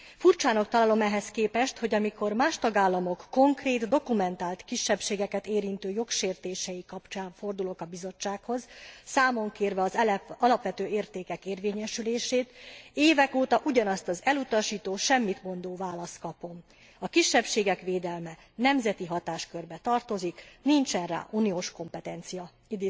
Furcsának találom ehhez képest, hogy amikor más tagállamok konkrét, dokumentált, kisebbségeket érintő jogsértései kapcsán fordulok a Bizottsághoz, számon kérve az alapvető értékek érvényesülését, évek óta ugyanazt az elutasító, semmitmondó választ kapom A kisebbségek védelme nemzeti hatáskörbe tartozik, nincsen rá uniós kompetencia.